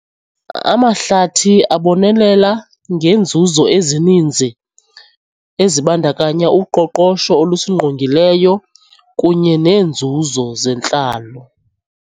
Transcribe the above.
Amahlathi abonelela ngenzuzo ezininzi ezibandakanya uqoqosho olusingqongileyo kunye neenzuzo zentlalo.